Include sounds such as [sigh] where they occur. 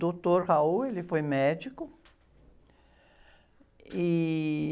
Doutor, [unintelligible] ele foi médico. E...